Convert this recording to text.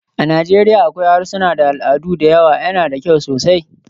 A Najeriya akwai harsuna da al'adu da yawa, yana da kyau sosai.